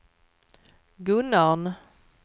Gunnarn